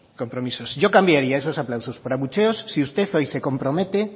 compromisos yo cambiaría esos aplausos por abucheos si usted hoy se compromete